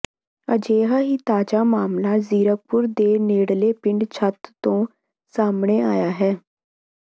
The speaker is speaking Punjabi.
ਅਜਿਹਾ ਹੀ ਤਾਜ਼ਾ ਮਾਮਲਾਜ਼ੀਰਕਪੁਰ ਦੇ ਨੇੜਲੇ ਪਿੰਡ ਛੱਤ ਤੋਂ ਸਾਹਮਣੇ ਆਇਆ ਹੈ